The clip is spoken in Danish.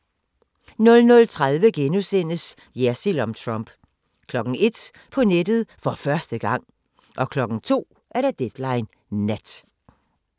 00:30: Jersild om Trump * 01:00: På nettet for første gang! 02:00: Deadline Nat